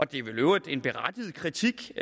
det er vel i øvrigt en berettiget kritik